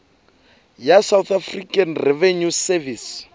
ya south african revenue service